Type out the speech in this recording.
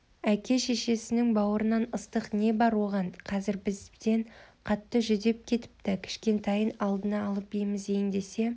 әке-шешесінің бауырынан ыстық не бар оған қазір бізден қатты жүдеп кетіпті кішкентайын алдына алып емізейін десе